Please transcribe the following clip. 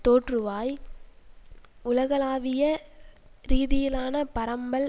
தோற்றுவாய் உலகளாவிய ரீதியிலான பரம்பல்